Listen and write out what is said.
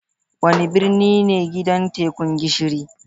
Wane birni ne gidan Tekun Gishiri?